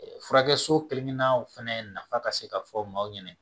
Furakɛ so kelenna fɛnɛ nafa ka se ka fɔ maaw ɲɛna